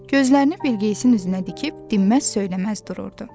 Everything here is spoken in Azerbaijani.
Gözlərini Bilqeyisin üzünə dikib dinməz-söyləməz dururdu.